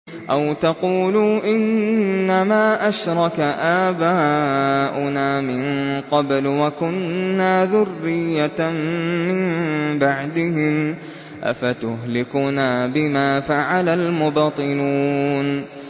أَوْ تَقُولُوا إِنَّمَا أَشْرَكَ آبَاؤُنَا مِن قَبْلُ وَكُنَّا ذُرِّيَّةً مِّن بَعْدِهِمْ ۖ أَفَتُهْلِكُنَا بِمَا فَعَلَ الْمُبْطِلُونَ